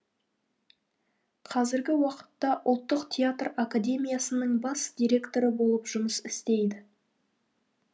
қазіргі уақытта ұлттық театр академиясының бас директоры болып жұмыс істейді